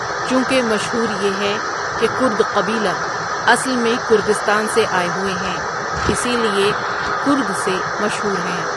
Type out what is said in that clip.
چونکه مشهور یه هے که کرد قبیله اصل میں کردستان سے آئے هوئے هیں اسی لئے کرد سے مشهور هیں.